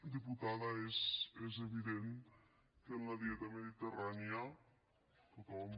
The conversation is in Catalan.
diputada és evident que en la dieta mediterrània tothom